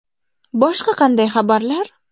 Boshqa qanday xabarlar?